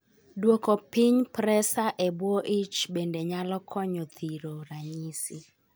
Duoko piny presa e buo ich bende nyalo konyo thiro ranyisi